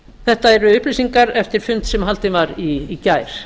þetta eru upplýsingar eftir fund sem haldinn var í gær